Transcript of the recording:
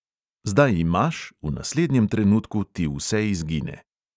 Zdaj imaš, v naslednjem trenutku ti vse izgine.